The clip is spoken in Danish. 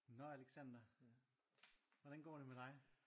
Nå alexander hvordan går det med dig?